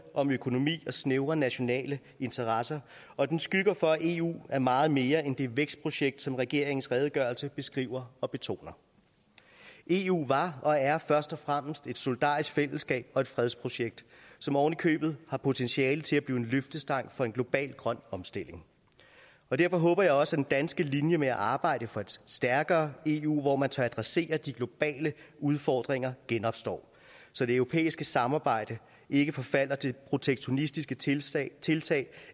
om økonomi og snævre nationale interesser og den skygger for at eu er meget mere end det vækstprojekt som regeringens redegørelse beskriver og betoner eu var og er først og fremmest et solidarisk fællesskab og et fredsprojekt som ovenikøbet har potentiale til at blive en løftestang for en global grøn omstilling og derfor håber jeg også at den danske linje med at arbejde for et stærkere eu hvor man tør adressere de globale udfordringer genopstår så det europæiske samarbejde ikke forfalder til protektionistiske tiltag tiltag